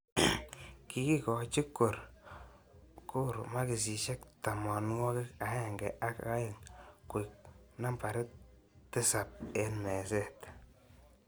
Kikikoji Gor makishek tamanwakik aeng ak aeng koek nambarit tisab eng meset.